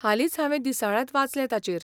हालींच हांवें दिसाळ्यांत वाचलें तांचेर.